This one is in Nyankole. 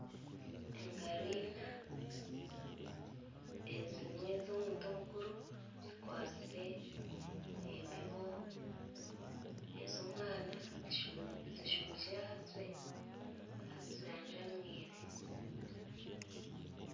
Engaro ina ezimwe z'omuntu omukuru zikwasire embibo, ez'omwana zijumikire ahansi azijanjamwire.